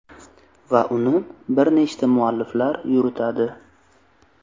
Va uni bir nechta mualliflar yuritadi.